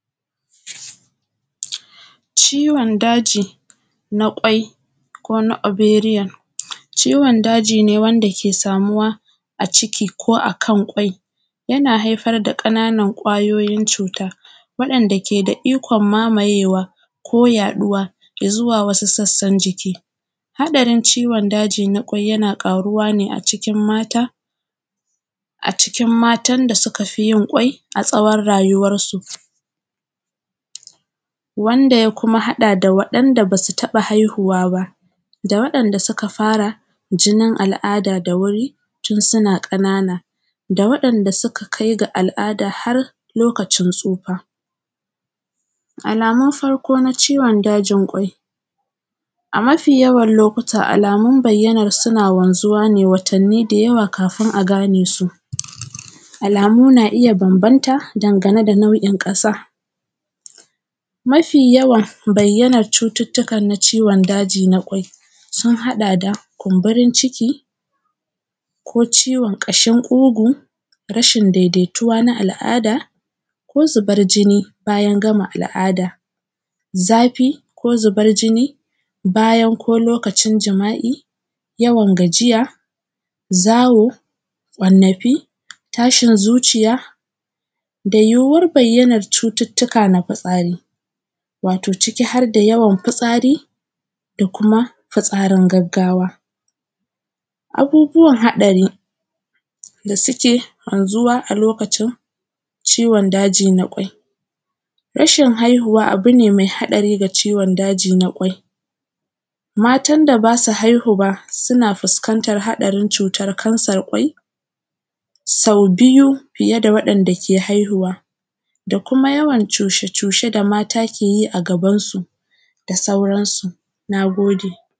Ciwon daji na ƙwai ko na ovarian, ciwon daji ne wanda ke samuwa a ciki ko a kan ƙwai, yana haifar da ƙananan ƙwayitin cuta wanɗanda ke da ikon mamayewa ko yaɗuwa zuwa wasu sassan jiki. haɗarin ciwon daji na ƙwai yana ƙaruwa ne a cikin mata, a cikin matan da suka fi yin ƙwai a tsawon rayuwar su. Wanda ya kuma haɗa da waɗanda basu taɓa haihuwa ba, da waɗanda suka fara jinin al’ada da wuri tun suna ƙanana, da waɗanda suka kai ga al’ada har lokacin tsufa. Alamun farko na ciwon dajin ƙwai. A mafi yawan lokuta alamun bayyana suna wanzuwa ne watanni da yawa kafin a gane su, alamu na iya bambamta dangane da nau’in ƙasa. Ma fi yawan bayyanar cututtukan na ciwon daji na ƙwai sun haɗa da kumburin ciki, ko ciwon ƙashin ƙugu, rashin daidaituwa na al’ada, ko zubar jini bayan gama al’ada, zafi ko zuban jini bayan ko lokacin jima’i, yawan gajiya, zawo, ƙwannafi, tashin zuciya, da yiwuwar bayyanar cututtuka na fitsari. Wato ciki harda yawan fitsari da kuma fitsarin gaggawa. Abubuwan haɗari da suke wanzuwa a lokacin ciwon daji na ƙwai, rashin haihuwa abu ne ma haɗari ga ciwon daji na ƙwai. Matan da basu haihu ba suna fuskantar haɗarin cutar kansar ƙwai, sau biyu fiye da waɗanda ke haihuwa, da kuma yawan cushe cushe da mata ke yi a gaban su da sauransu. Na gode.